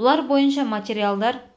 бұлар бойынша материалдар